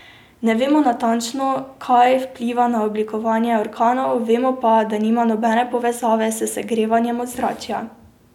Ne vemo natančno, kaj vpliva na oblikovanje orkanov, vemo pa, da nima nobene povezave s segrevanjem ozračja.